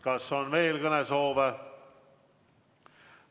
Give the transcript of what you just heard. Kas on veel kõnesoove?